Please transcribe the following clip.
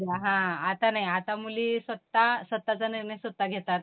अ, हां आता नाही आता मुली स्वतः स्वतःहाचा निर्णय स्वतः घेतात.